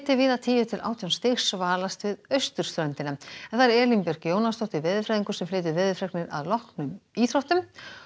víða tíu til átján stig við austurströndina Elín Björk Jónasdóttir veðurfræðingur flytur veðurfregnir að loknum íþróttum